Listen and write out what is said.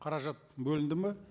қаражат бөлінді ме